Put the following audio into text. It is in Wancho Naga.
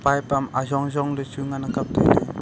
pipe am ajong jong ley chu ngan ang kapley.